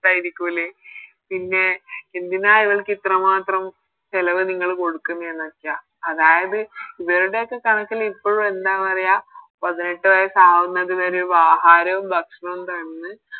ട്ടായിരിക്കൂലേ പിന്നെ എന്തിനാ ഇവൾക്ക് ഇത്രമാത്രം ചെലവ് നിങ്ങള് കൊടുക്കുന്നെന്നോക്കെയാ അതായത് ഇവരുടെയൊക്കെ കണക്കില് ഇപ്പഴും എന്താ പറയാ പതിനെട്ട് വയസ്സാവുന്നത് വരെ ആഹാരവും ഭക്ഷണവും തന്ന്